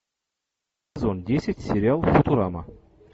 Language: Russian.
сезон десять сериал футурама